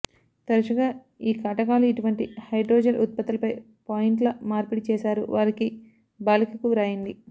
తరచుగా ఈ కటకాలు ఇటువంటి హైడ్రోజెల్ ఉత్పత్తులపై పాయింట్లు మార్పిడి చేశారు వారికి బాలికలకు వ్రాయండి